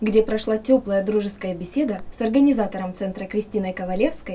где прошла тёплая дружеская беседа с организатором центра кристиной ковалевской